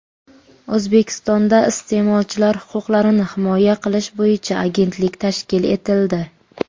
O‘zbekistonda iste’molchilar huquqlarini himoya qilish bo‘yicha agentlik tashkil etildi.